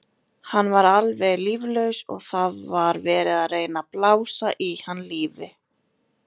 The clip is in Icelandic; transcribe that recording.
Hann var alveg líflaus og það var verið að reyna að blása í hann lífi.